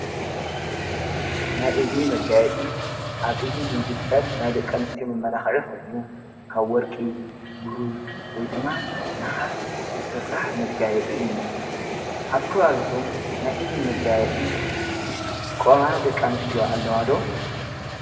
ናይ እዝኒ መጋየጢ ኣብ እዝኒ ዝንጽጠል ናይ ደቀንስትኦ መመላኽዕኹኑ ካብ ወርቂ ብሩር ወይ ድማ ንሓስ ዝሥራሕ መጋየጢ እዩ ኣብ ከባቢኹም ናይ እዝኒ መጋየጢ ዝጥቋማ ደቀንስትዮ ኣለዋዶ።